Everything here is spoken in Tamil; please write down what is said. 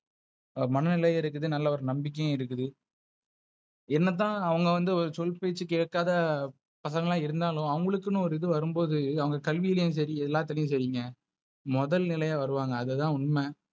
மனநிலை இருக்குது. நல்ல ஒரு நம்பிக்கையும் இருக்குது. என்னதான் அவங்க வந்து ஒரு சொல்பேச்சு கேட்காத பசங்களா இருந்தாலும் அவங்களுக்குனு ஒரு இது வரும் போது அவங்க கல்வியிலும் சரி எல்லாத்திலையு முதல்நிலைல வருவாங்க.